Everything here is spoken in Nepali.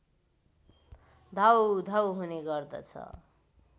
धौधौ हुने गर्दछ